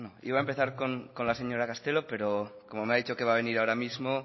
iba a empezar con la señora castelo pero como me ha dicho que va a venir ahora mismo